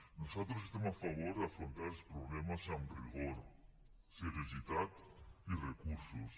nosaltres estem a favor d’afrontar els problemes amb rigor seriositat i recursos